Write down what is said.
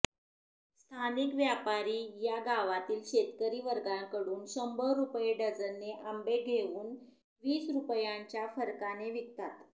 स्थानिक व्यापारी या गावातील शेतकरी वर्गाकडुन शंभर रूपये डझनने आंबे घेवून वीस रुपयांच्या फरकाने विकतात